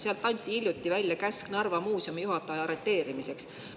Seal anti hiljuti käsk Narva Muuseumi juhataja arreteerimiseks.